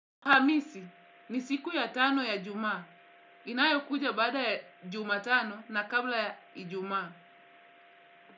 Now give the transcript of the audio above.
Hamisi, ni siku ya tano ya jumaa. Inayo kuja baada ya jumatano na kabla ya ijumaa.